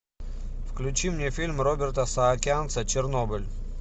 включи мне фильм роберта саакянца чернобыль